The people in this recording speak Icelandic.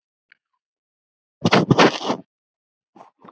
Lítið í eigin barm.